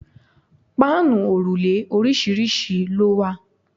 Páànù òrùlé oríṣiríṣi ló wà.